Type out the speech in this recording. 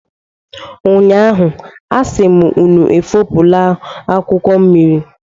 Ụnyaahụ, a sị m unu efopụla akwụkwọ mmiri.